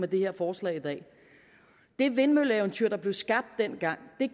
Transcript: det her forslag i dag det vindmølleeventyr der blev skabt dengang det